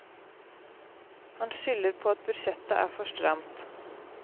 Han skylder på at budsjettet er for stramt.